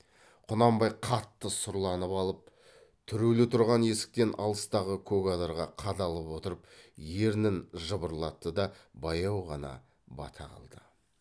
құнанбай қатты сұрланып алып түрулі тұрған есіктен алыстағы көк адырға қадалып отырып ернін жыбырлатты да баяу ғана бата қылды